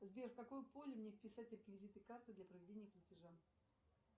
сбер в какое поле мне вписать реквизиты карты для проведения платежа